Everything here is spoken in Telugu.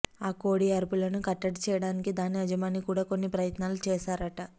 ఆ కోడి అరుపులను కట్టడి చేయడానికి దాని యజమాని కూడా కొన్ని ప్రయత్నాలు చేశారట